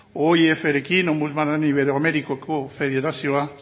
oif rekin ombudsman iberoamerikoko federazioa